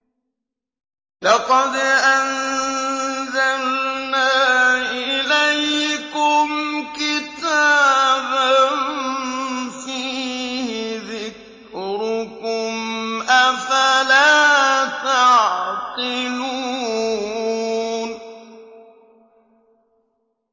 لَقَدْ أَنزَلْنَا إِلَيْكُمْ كِتَابًا فِيهِ ذِكْرُكُمْ ۖ أَفَلَا تَعْقِلُونَ